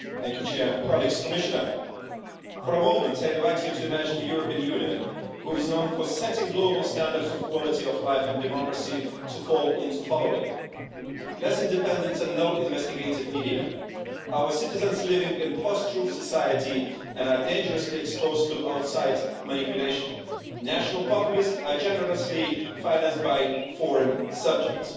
Madam President, for a moment I invite you to imagine the European Union, which is known for setting global standards of quality of life in democracy, falling into the following situation less independent and no investigative media, our citizens living in a post-truth society and dangerously exposed to outside manipulation and national populists are generously financed by foreign subjects.